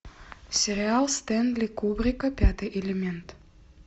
сериал стэнли кубрика пятый элемент